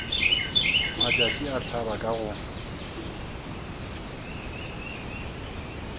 matšatši a hlaba ka go